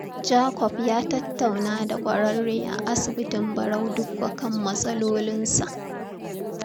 Jacob ya tattauna da ƙwararre a asibitin Barau Dikko kan matsalolinsa.